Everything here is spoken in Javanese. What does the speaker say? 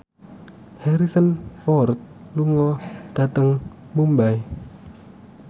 Harrison Ford lunga dhateng Mumbai